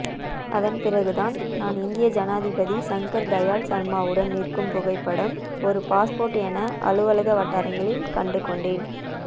அதன்பிறகுதான் நான் இந்திய ஜனாதிபதி சங்கர் தயாள் சர்மாவுடன் நிற்கும் புகைப்படம் ஒரு பாஸ்போர்ட் என அலுவலக வட்டாரங்களில் கண்டுகொண்டேன்